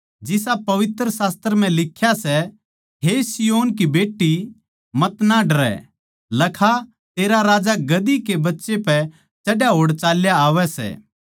जिसा पवित्र शास्त्र म्ह लिख्या सै हे सिय्योन की बेट्टी मतना डरै लखा तेरा राजा गधे के बच्चे पै चढ़ा होड़ चाल्या आवै सै